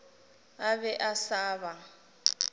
a be a sa ba